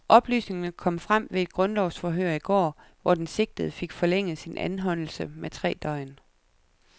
Oplysningerne kom frem ved et grundlovsforhør i går, hvor den sigtede fik forlænget sin anholdelse med tre døgn.